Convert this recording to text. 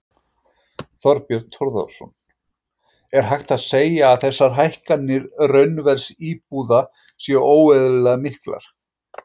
Þorbjörn Þórðarson: Er hægt að segja að þessar hækkanir raunverðs íbúða séu óeðlilega miklar?